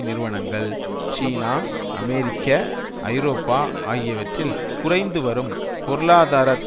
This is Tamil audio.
நிறுவனங்கள் சீனா அமெரிக்க ஐரோப்பா ஆகியவற்றில் குறைந்துவரும் பொருளாதார